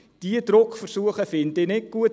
Diese Druckversuche finde ich nicht gut.